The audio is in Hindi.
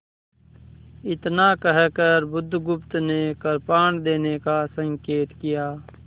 इतना कहकर बुधगुप्त ने कृपाण देने का संकेत किया